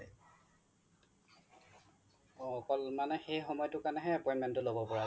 অ অকল সেই সময়টো কাৰনে হে appointment টো লব পাৰা